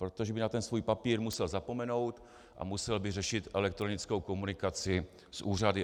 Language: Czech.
Protože by na ten svůj papír musel zapomenout a musel by řešit elektronickou komunikaci s úřady.